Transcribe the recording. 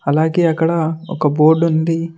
అలాగే అక్కడ ఒక బోర్డుంది .